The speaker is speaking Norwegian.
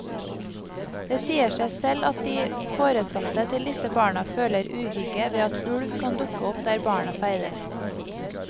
Det sier seg selv at de foresatte til disse barna føler uhygge ved at ulv kan dukke opp der barna ferdes.